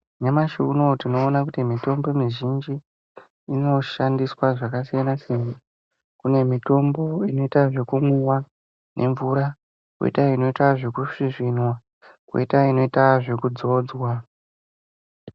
Nyamashi uno tinona kuti mitombo mizhinji inoshandiswa zvakasiyanasiyana, kune mitombo inota zvekumwiwa nemvura , koita inoite zvekusvisvinwa, kwoita inoitwa zvekudzodzwa.